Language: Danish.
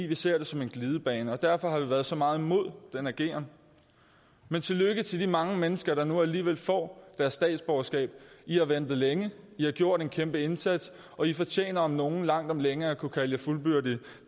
vi ser det som en glidebane derfor har vi været så meget imod den ageren men tillykke til de mange mennesker der nu alligevel får deres statsborgerskab i har ventet længe i har gjort en kæmpe indsats og i fortjener om nogen langt om længe at kunne kalde jer fuldbyrdede